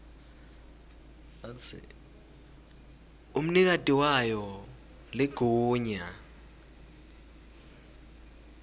umnikati wayo ligunya